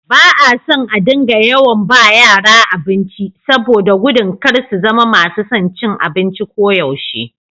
Ba a son a dinga yawan ba yara abinci, saboda da gudun kar su zama masu son cin abinci koyaushe.